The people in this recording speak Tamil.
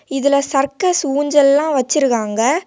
இதுல சர்க்கஸ் ஊஞ்சல் எல்லாம் வச்சிருக்காங்க.